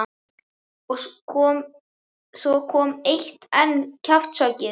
Og svo kom enn eitt kjaftshöggið.